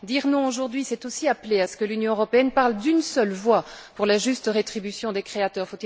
Dire non aujourd'hui, c'est aussi appeler à ce que l'Union européenne parle d'une seule voix pour la juste rétribution des créateurs.